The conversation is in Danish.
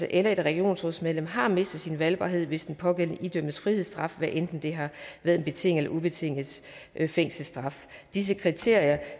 eller regionsrådsmedlem har mistet sin valgbarhed hvis den pågældende idømt frihedsstraf hvad enten det har været en betinget ubetinget fængselsstraf disse kriterier